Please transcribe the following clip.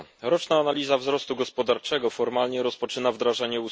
Roczna analiza wzrostu gospodarczego formalnie rozpoczyna wdrażanie